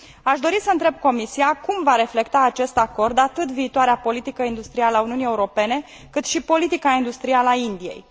Aș dori să întreb Comisia cum va reflecta acest acord atât viitoarea politică industrială a Uniunii Europene, cât și politica industrială a Indiei?